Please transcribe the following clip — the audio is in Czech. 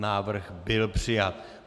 Návrh byl přijat.